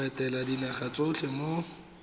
go etela dinaga tsotlhe mo